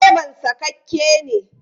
Direban sakakke ne.